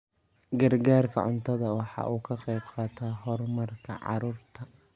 Gargaarka cuntadu waxa uu ka qayb qaataa horumarka carruurta.